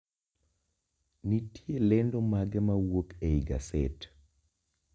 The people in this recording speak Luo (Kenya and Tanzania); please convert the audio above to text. Nitie lendo mage mawuok ei gaset